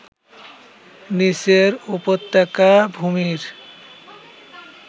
নিচের উপত্যকা ভূমির